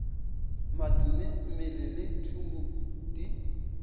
madume mmele le thumo di